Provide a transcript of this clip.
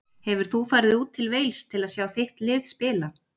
Hefur þú farið út til Wales að sjá þitt lið spila?